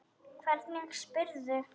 Hvernig spyrðu!